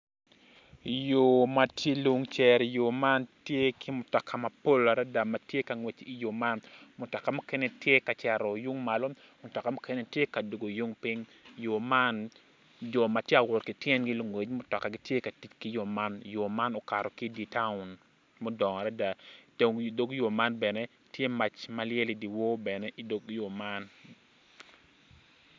Yo ma tye lun cere yo man tye ki mutoka mapol adada tye ka ngwec i yo man mutoka mukene tye ka cito yung malo mutoka mukene tye ka dwogo yung piny yo man jo ma gitye ka wot ki tyengi lungwec ki mutoka gitye ka tic ki yo man.